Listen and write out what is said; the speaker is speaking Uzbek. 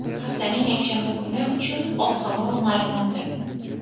haftaning yakshanba kuni uchun ob-havo maʼlumoti.